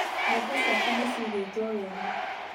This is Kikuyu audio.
Mbembe ciakwa ni ciigĩtwo wega